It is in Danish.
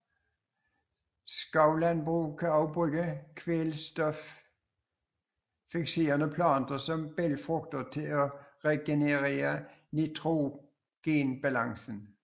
Skovlandbrug kan også bruge kvælstoffikserende planter som bælgfrugter til at regenerere nitrogenbalancen